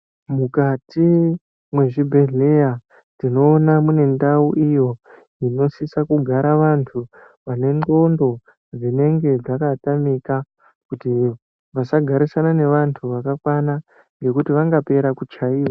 Mukati mwezvibhedhleya tinoona munendau iyo inosisa kugara vantu vane ndxondo dzinenge dzakatamika. Kuti vasagarisana nevantu vakakwana ngekuti vangapera kuchaiva.